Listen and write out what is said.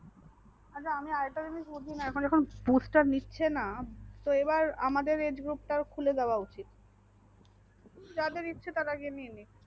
হ্যাঁ আচ্ছা আর একটা জিনিস বুঝি না এখন যখন bush star নিচ্ছে তোএবারআমাদের age group খুলে দেওয়া উচিত। যাদের ইচ্ছে তারা গিয়ে নিয়ে নেক